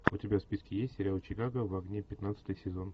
у тебя в списке есть сериал чикаго в огне пятнадцатый сезон